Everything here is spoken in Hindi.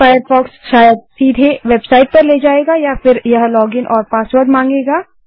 फ़ायरफ़ॉक्स शायद सीधे वेबसाईट पर ले जाएगा या फिर यह लॉगिन और पासवर्ड मांगेगा